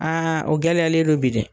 o gɛlɛyalen don bi dɛ